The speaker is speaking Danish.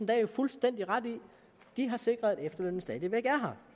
jo fuldstændig ret i de har sikret at efterlønnen stadig væk